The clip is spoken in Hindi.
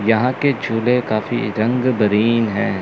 यहां के झूले काफी रंग बारिन है।